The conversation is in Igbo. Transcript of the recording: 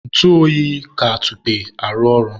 ntụ oyi ka atupe arụ ọrụ